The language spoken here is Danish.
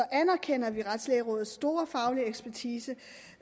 anerkender vi retslægerådets store faglige ekspertise